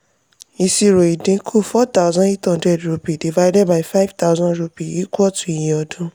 ìṣirò ìdínkù: four thousand eight hundred rupee divided by five thousand rupee equal to iye ọdún.